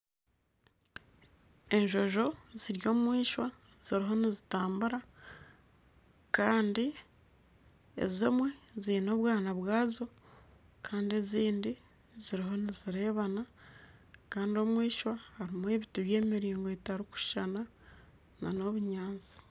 Enjonjo ziri omwishwa ziriyo nizitambura Kandi ezimwe ziine obwana bwazo Kandi ezindi ziriho nizireebana Kandi omwishwa harimu ebiti by'emiringo etarikushushana nana obunyaatsi